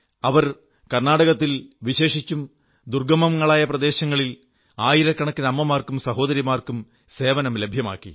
അവർ കർണ്ണാടകത്തിൽ വിശേഷിച്ചും ദർഗ്ഗമങ്ങളായ പ്രദേശങ്ങളിൽ ആയിരക്കണക്കിന് അമ്മമാർക്കും സഹോദരിമാർക്കും സേവനം ലഭ്യമാക്കി